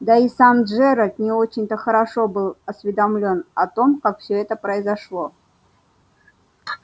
да и сам джералд не очень-то хорошо был осведомлен о том как все это произошло